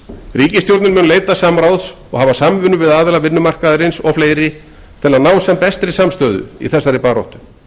ríkisstjórnin mun leita samráðs og hafa samvinnu við aðila vinnumarkaðarins og fleiri til að ná sem bestri samstöðu í þessari baráttu